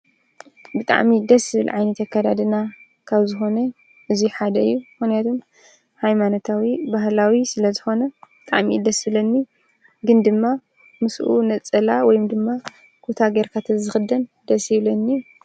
ብጣዕሚ ደስ ዝብል ዓይነት ኣከዳድና ካብ ዝኾነ እዚ ሓደ እዩ ምኽንያቱ ሃይማኖታዊ ባህላዊ ስለዝኾነ ብጣዕሚ እዩ ደስ ዝብለኒ ግን ድማ ምስኡ ነፀላ ወይ ድማ ኩታ ጌርካ ተዝኽደን ደስ ይብለኒ።